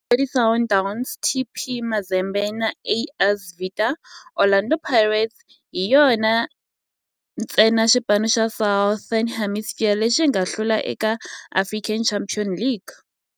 Na Mamelodi Sundowns, TP Mazembe na AS Vita, Orlando Pirates hi yona ntsena xipano xa Southern Hemisphere lexi nga hlula eka African Champions League.